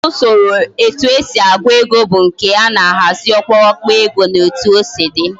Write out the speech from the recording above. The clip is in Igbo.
Ufodu Usoro etu esi agu ego bu nke ana ahazi okpurukpu ego na otu osi di